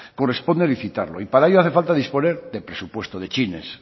corresponde licitarlo y para ello hace falta disponer de presupuesto de chines